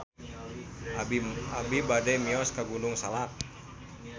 Abi bade mios ka Gunung Salak